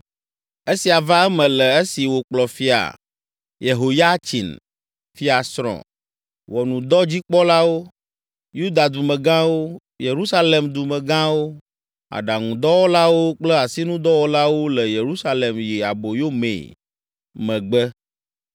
Esia va eme le esi wokplɔ Fia Yehoyatsin, fiasrɔ̃, ʋɔnudɔdzikpɔlawo, Yuda dumegãwo, Yerusalem dumegãwo, aɖaŋudɔwɔlawo kple asinudɔwɔlawo le Yerusalem yi aboyo mee megbe